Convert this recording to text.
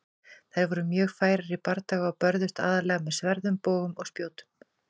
Þær voru mjög færar í bardaga og börðust aðallega með sverðum, bogum og spjótum.